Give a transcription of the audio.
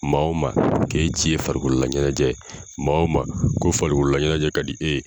Maa wo maa k'e ci ye farikololaɲɛnajɛ maa womaa ko farikololalaɲɛnajɛ ka di e ye.